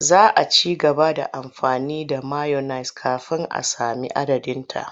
Za a ci gaba da amfani da mayones kafin a sami madadinsa.